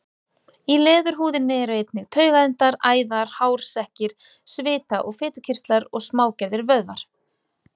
Í leðurhúðinni eru einnig taugaendar, æðar, hársekkir, svita- og fitukirtlar og smágerðir vöðvar.